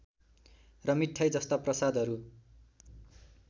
र मिठाई जस्ता प्रसादहरू